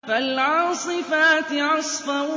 فَالْعَاصِفَاتِ عَصْفًا